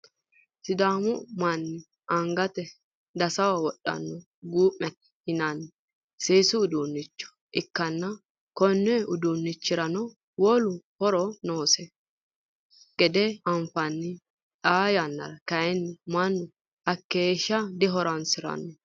sidaamu manni angate dasaho wodhanno gumete yinanni seesu uduunnicho ikkanna, konni uduunnichirano wole horono noosi gede anfanni, xaa yannara kayiinni mannu hakeeshsha dihoronsiranno.